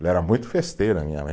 Ela era muito festeira, minha mãe.